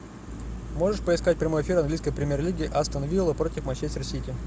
можешь поискать прямой эфир английской премьер лиги астон вилла против манчестер сити